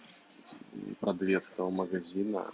продавец этого магазина